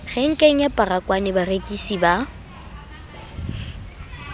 renkeng ya baragwanath barekisi ba